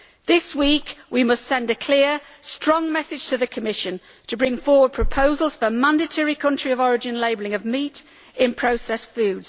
This week we must send a clear, strong message to the Commission to bring forward proposals for mandatory country of origin labelling of meat in processed food.